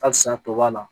Halisa a tɔ b'a la